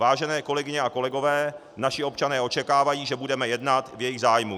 Vážené kolegyně a kolegové, naši občané očekávají, že budeme jednat v jejich zájmu.